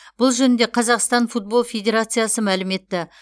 бұл жөнінде қазақстан футбол федерациясы мәлім етті